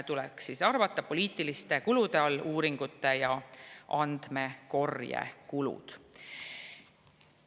Poliitiliste kulude hulka tuleks edaspidi arvata uuringute ja andmekorje kulud.